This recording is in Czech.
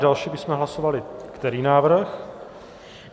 Další bychom hlasovali který návrh?